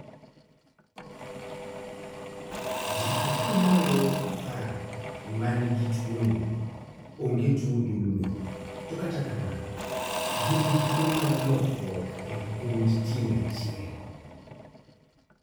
Jii ata malo apar manigi tuo ni onge tuo ndulme to kata kamano gin gi tuo mar lokruok e gund tieng' achiel